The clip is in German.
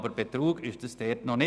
Aber Betrug ist das noch nicht.